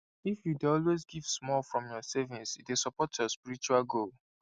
if you dey always give small from your savings e dey support your spiritual goal